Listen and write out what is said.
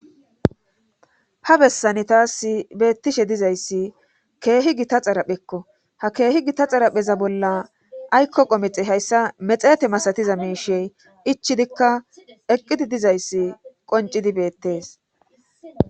Ha bessane taas beettishe dizayssi keehi gita xaraphekko ha keehi gita xarapheza bolla aykko qomexe hayssa mexete masatiza miishey ichidikka eqqidi dizayssi qoncidi beettees.